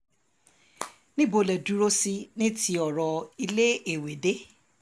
níbo lẹ dúró sí ní ti ọ̀rọ̀ iléèwé dé